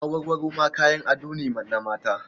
Awarwaro ma kayan ado ne na mata.